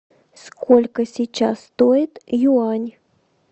сколько сейчас стоит юань